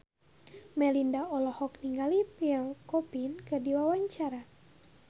Melinda olohok ningali Pierre Coffin keur diwawancara